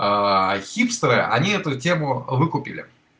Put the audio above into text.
хипстеры они эту тему выкупили